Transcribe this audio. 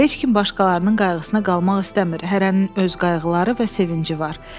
Heç kim başqalarının qayğısına qalmaq istəmir, hərənin öz qayğıları və sevinci var.